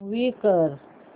move कर